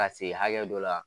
Ka se hakɛ dɔ la